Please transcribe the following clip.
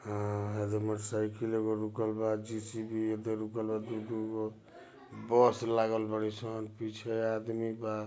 ह motorcycle ईव रुकल बा। जे_सी_बी इधर रुकल बा। डुडु बस लागल बड़े छ पीछे आदमी बा।